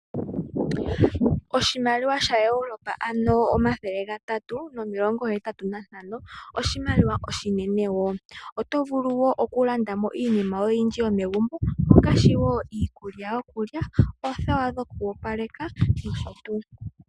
Oshimaliwa sha-Europa, ano omathele gatatu nomilongo hetatatu nantano, oshimaliwa oshinene. Oto vulu okulandamo iinima yoye oyindji yomegumbo ngaashi iikulya, oothewa dhoku opaleka niikutu.